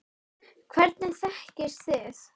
Hvernig þekkist þið?